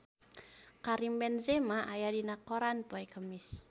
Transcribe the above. Karim Benzema aya dina koran poe Kemis